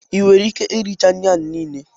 Ị nwere ike iricha nri niile?